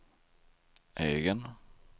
egen